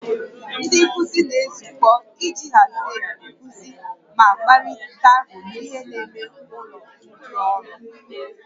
Ndị nkuzi na-ezukọ iji hazie nkuzi ma kparịta ihe n'ime ụlọ ndị ọrụ